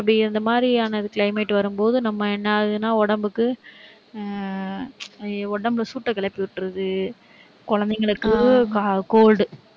அப்படி இந்த மாதிரியான climate வரும்போது, நம்ம என்ன ஆகுதுன்னா, உடம்புக்கு ஆஹ் உடம்பு சூட்டை கிளப்பி விட்டிருது குழந்தைங்களுக்கு c~ cold